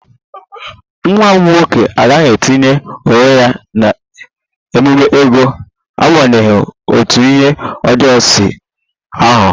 Nwanne m nwoke agaghị etinye onwe ya n'ememe ego n'agbanyeghị otú ihe ọjọọ si aghọ